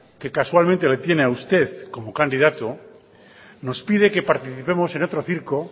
que casualmente le tiene a usted como candidato nos pide que participemos en otro circo